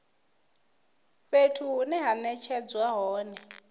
fhethu hune ha netshedzwa hone